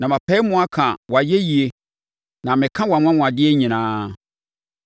na mepae mu ka wʼayɛyie na meka wʼanwanwadeɛ nyinaa.